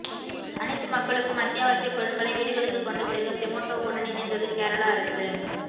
அனைத்து மக்களுக்கும் அத்தியாவசிய பொருட்களை வீடுகளுக்கு கொண்டு சேர்க்க சொமோட்டோவுடன் இணைந்தது கேரள அரசு